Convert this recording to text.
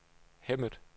Hemmet